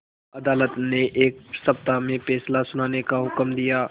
अदालत ने एक सप्ताह में फैसला सुनाने का हुक्म दिया